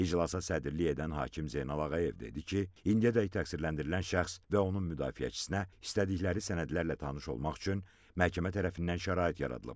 İclasa sədrlik edən hakim Zeynal Ağayev dedi ki, indiyədək təqsirləndirilən şəxs və onun müdafiəçisinə istədikləri sənədlərlə tanış olmaq üçün məhkəmə tərəfindən şərait yaradılıb.